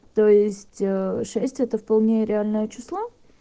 то есть шесть это вполне реальное число